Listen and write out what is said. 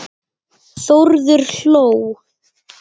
Þórður hló.